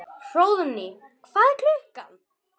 Hróðný, hvað er klukkan?